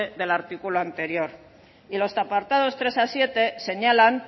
del artículo anterior y los apartados tres a siete señalan